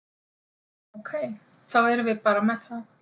Ok, þá erum við bara með það?